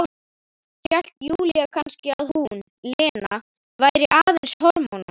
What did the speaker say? Hélt Júlía kannski að hún, Lena, væri aðeins hormónar?